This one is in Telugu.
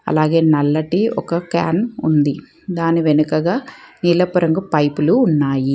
అలాగే నల్లటి ఒక క్యాన్ ఉంది దాని వెనుకగా నీలపు రంగు పైపులు ఉన్నాయి